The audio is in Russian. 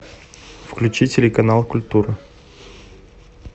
включи телеканал культура